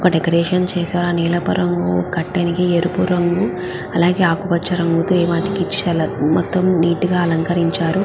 ఒక డెకొరేషన్ చేశారు. ఒక నీలపు రంగు కర్టెన్ కి ఎరుపు రంగు అలాగే ఆకుపచ్చ రంగు ఏవో అతికించారు చాల మొత్తం నీట్ గా అలంకరించారు.